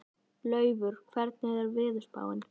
Laufar, hvernig er veðurspáin?